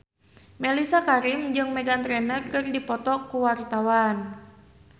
Mellisa Karim jeung Meghan Trainor keur dipoto ku wartawan